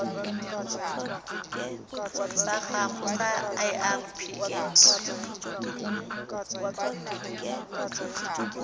sa gago sa irp it